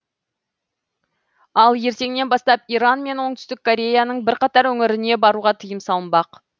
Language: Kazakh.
ал ертеңнен бастап иран мен оңтүстік кореяның бірқатар өңіріне баруға тыйым салынбақ